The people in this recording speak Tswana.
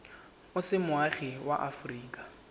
o se moagi wa aforika